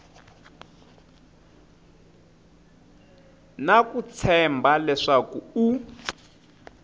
na ku tshemba leswaku u